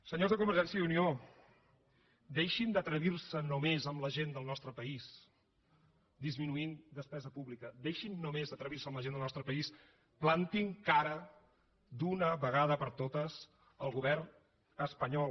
senyors de convergència i unió deixin d’atrevir se només amb la gent del nostre país disminuint despesa pública deixin només d’atrevir se amb la gent del nostre país plantin cara d’una vegada per totes al govern espanyol